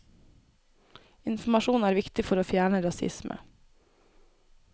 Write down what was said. Informasjon er viktig for å fjerne rasisme.